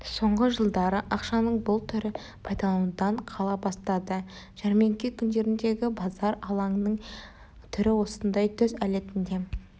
соңғы жылдары ақшаның бұл түрі пайдаланудан қала бастады жәрмеңке күндеріндегі базар алаңының түрі осындай түс әлетінде